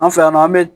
An fɛ yan nɔ an bɛ